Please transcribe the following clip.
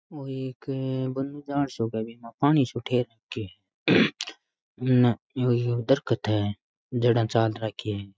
ओ एक बन्नो जान सो क है बि मा पानी सो ठहर रखो है उनने यो दरखत है जड़ा चाल राखी है।